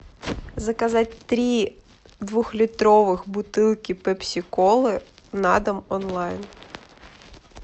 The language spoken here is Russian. заказать три двухлитровых бутылки пепси колы на дом онлайн